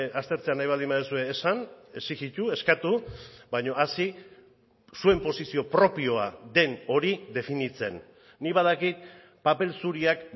aztertzea nahi baldin baduzue esan exijitu eskatu baina hasi zuen posizio propioa den hori definitzen nik badakit paper zuriak